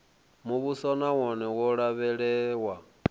muvhuso na wone wo lavhelewa